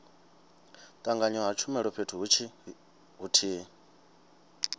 tanganywa ha tshumelo fhethu huthihi